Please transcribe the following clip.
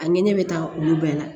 A ɲini ne bɛ taa olu bɛɛ la